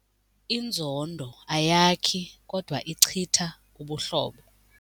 Inzondo ayakhi kodwa ichitha ubuhlobo.